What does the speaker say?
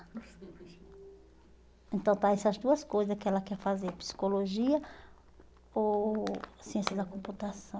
Então, está essas duas coisa que ela quer fazer, psicologia ou ciência da computação.